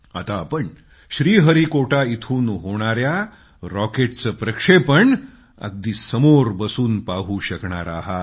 आता तुम्ही श्रीहरिकोटा इथून होणाया रॉकेटचं लॉचिंग अगदी समोर बसून पाहू शकणार आहात